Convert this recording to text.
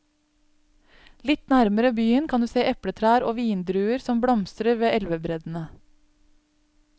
Litt nærmere byen kan du se epletrær og vindruer som blomstrer ved elvebreddene.